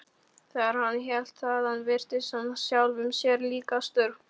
Þegar hann hélt þaðan virtist hann sjálfum sér líkastur.